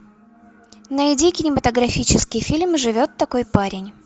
найди кинематографический фильм живет такой парень